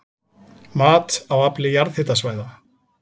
Mat á afli jarðhitasvæða